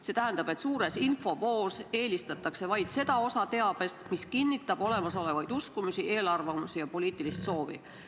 See tähendab, et suures infovoos eelistatakse vaid seda osa teabest, mis kinnitab olemasolevaid uskumusi, eelarvamusi ja poliitilist soovi.